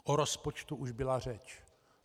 O rozpočtu už byla řeč.